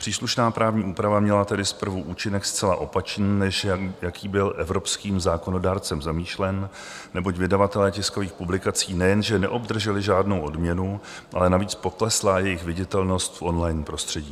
Příslušná právní úprava měla tedy zprvu účinek zcela opačný, než jaký byl evropským zákonodárcem zamýšlen, neboť vydavatelé tiskových publikací nejenže neobdrželi žádnou odměnu, ale navíc poklesla jejich viditelnost v on-line prostředí.